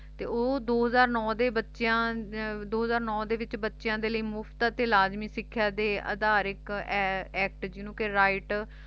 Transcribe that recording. ਤੇ ਉਹ ਦੋ ਹਜ਼ਾਰ ਨੌ ਦੇ ਬੱਚਿਆਂ ਦੋ ਹਜ਼ਾਰ ਨੌ ਦੇ ਵਿਚ ਬੱਚਿਆਂ ਦੇ ਲਈ ਮੁਫ਼ਤ ਅਤੇ ਲਾਜ਼ਮੀ ਸਿੱਖੀਆ ਦੇ ਅਧਾਰ ਇੱਕ act ਜਿਨੂੰ ਕਿ right